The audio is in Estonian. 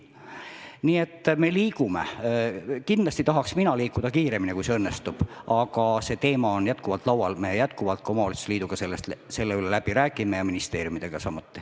Kindlasti tahaks mina liikuda nende asjadega kiiremini, kui see õnnestub, aga teema on endiselt üleval, me räägime läbi omavalitsuste liiduga ja ministeeriumidega samuti.